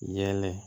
Yɛlɛ